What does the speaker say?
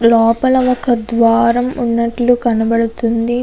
లోపల ఒక ద్వారం ఉన్నట్లు కనబడుతుంది.